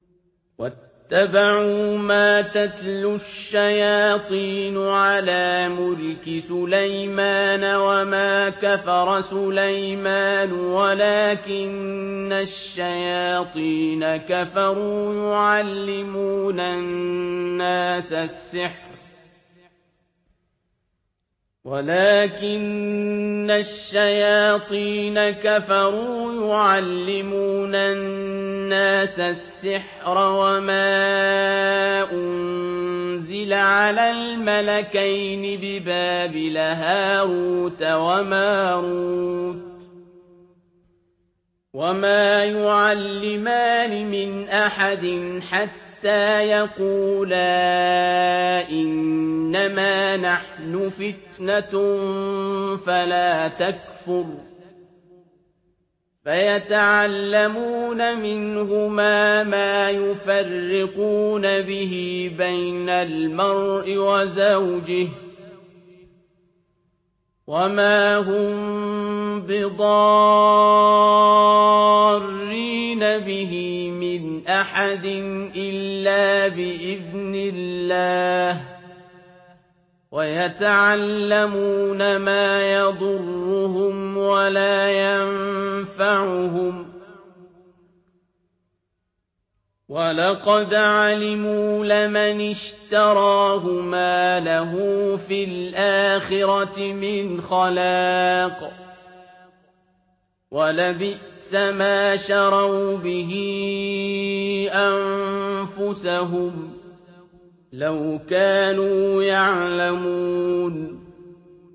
وَاتَّبَعُوا مَا تَتْلُو الشَّيَاطِينُ عَلَىٰ مُلْكِ سُلَيْمَانَ ۖ وَمَا كَفَرَ سُلَيْمَانُ وَلَٰكِنَّ الشَّيَاطِينَ كَفَرُوا يُعَلِّمُونَ النَّاسَ السِّحْرَ وَمَا أُنزِلَ عَلَى الْمَلَكَيْنِ بِبَابِلَ هَارُوتَ وَمَارُوتَ ۚ وَمَا يُعَلِّمَانِ مِنْ أَحَدٍ حَتَّىٰ يَقُولَا إِنَّمَا نَحْنُ فِتْنَةٌ فَلَا تَكْفُرْ ۖ فَيَتَعَلَّمُونَ مِنْهُمَا مَا يُفَرِّقُونَ بِهِ بَيْنَ الْمَرْءِ وَزَوْجِهِ ۚ وَمَا هُم بِضَارِّينَ بِهِ مِنْ أَحَدٍ إِلَّا بِإِذْنِ اللَّهِ ۚ وَيَتَعَلَّمُونَ مَا يَضُرُّهُمْ وَلَا يَنفَعُهُمْ ۚ وَلَقَدْ عَلِمُوا لَمَنِ اشْتَرَاهُ مَا لَهُ فِي الْآخِرَةِ مِنْ خَلَاقٍ ۚ وَلَبِئْسَ مَا شَرَوْا بِهِ أَنفُسَهُمْ ۚ لَوْ كَانُوا يَعْلَمُونَ